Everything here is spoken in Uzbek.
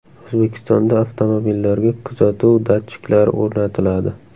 O‘zbekistonda avtomobillarga kuzatuv datchiklari o‘rnatiladi .